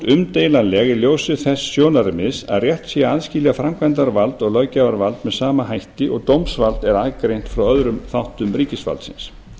umdeilanleg í ljósi þess sjónarmiðs að rétt sé að aðskilja framkvæmdarvald og löggjafarvald með sama hætti og dómsvald er aðgreint frá öðrum þáttum ríkisvaldsins